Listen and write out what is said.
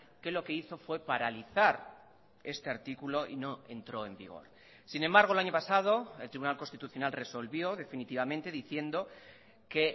que lo que hizo fue paralizar este artículo y no entró en vigor sin embargo el año pasado el tribunal constitucional resolvió definitivamente diciendo que